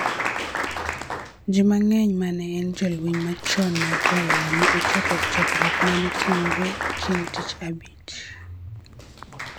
Ji mang�eny ma ne en jolweny machon mag Raila ne ochopo e chokruok ma ne otimore chieng' tich Abich